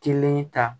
Kelen ta